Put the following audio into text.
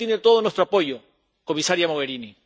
para eso tiene todo nuestro apoyo, comisaria Mogherini.